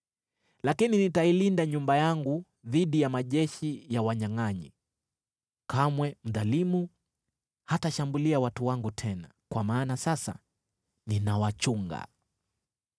Lakini nitailinda nyumba yangu dhidi ya majeshi ya wanyangʼanyi. Kamwe mdhalimu hatashambulia watu wangu tena, kwa maana sasa ninawachunga.